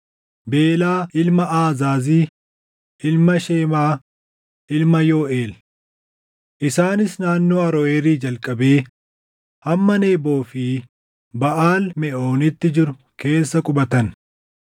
Beelaa ilma Aazaazi, ilma Shemaa, ilma Yooʼeel. Isaanis naannoo Aroʼeeri jalqabee hamma Neboo fi Baʼaal Meʼooniitti jiru keessa qubatan.